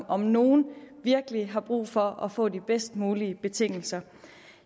om nogen virkelig har brug for at få de bedst mulige betingelser